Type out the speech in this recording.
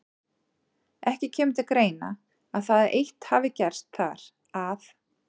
Ekki kemur til greina, að það eitt hafi gerst þar, að